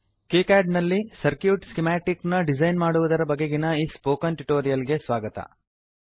KiCad ನಲ್ಲಿ circuit schematic ನ design ಮಾಡುವುದರ ಬಗೆಗಿನ ಈ ಸ್ಪೊಕನ್ ಟ್ಯುಟೋರಿಯಲ್ ಗೆ ಸ್ವಾಗತ